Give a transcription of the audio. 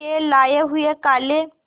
के लाए हुए काले